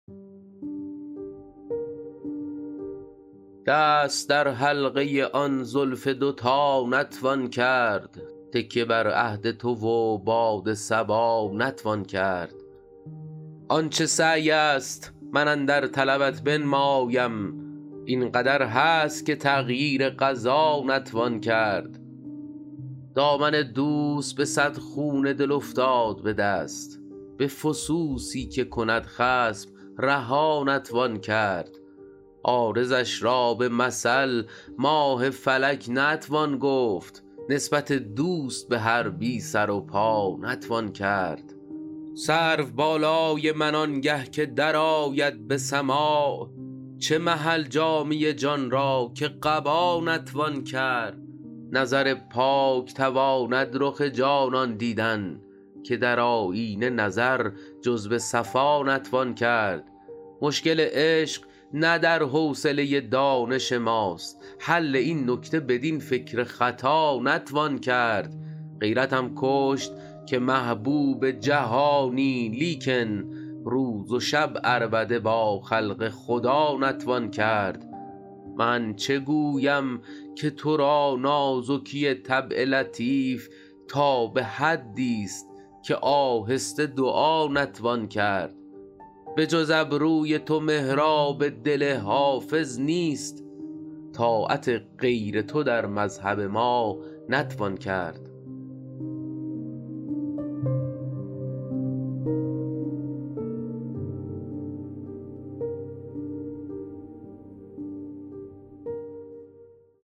دست در حلقه آن زلف دوتا نتوان کرد تکیه بر عهد تو و باد صبا نتوان کرد آن چه سعی است من اندر طلبت بنمایم این قدر هست که تغییر قضا نتوان کرد دامن دوست به صد خون دل افتاد به دست به فسوسی که کند خصم رها نتوان کرد عارضش را به مثل ماه فلک نتوان گفت نسبت دوست به هر بی سر و پا نتوان کرد سرو بالای من آنگه که درآید به سماع چه محل جامه جان را که قبا نتوان کرد نظر پاک تواند رخ جانان دیدن که در آیینه نظر جز به صفا نتوان کرد مشکل عشق نه در حوصله دانش ماست حل این نکته بدین فکر خطا نتوان کرد غیرتم کشت که محبوب جهانی لیکن روز و شب عربده با خلق خدا نتوان کرد من چه گویم که تو را نازکی طبع لطیف تا به حدیست که آهسته دعا نتوان کرد بجز ابروی تو محراب دل حافظ نیست طاعت غیر تو در مذهب ما نتوان کرد